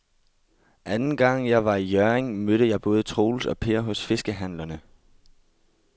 Anden gang jeg var i Hjørring, mødte jeg både Troels og Per hos fiskehandlerne.